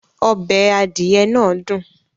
Ọbẹ̀ adìẹ náà dùn